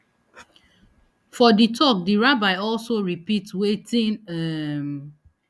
for di tok di rabbi also repeat wetin um